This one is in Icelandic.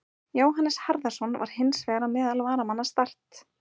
Jóhannes Harðarson var hins vegar á meðal varamanna Start.